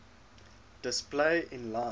display inline